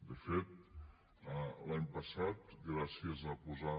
de fet l’any passat gràcies a posar